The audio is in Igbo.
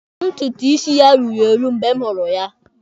Ntutu isi ya ruru eru mgbe m hụrụ ya.